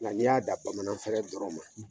Nga n'i y'a dan bamanan fɛɛrɛ dɔrɔn ma.